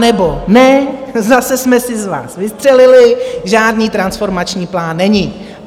Anebo ne, zase jsme si z vás vystřelili, žádný transformační plán není.